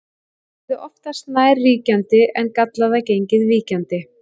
það yrði oftast nær ríkjandi en gallaða genið víkjandi